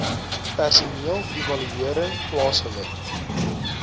personeel evaluering plaasgevind